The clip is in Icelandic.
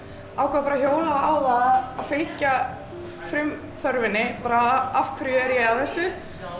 ákvað bara að hjóla á það að fylgja bara af hverju er ég að þessu